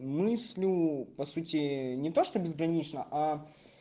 мыслю по сути не то что безгранично а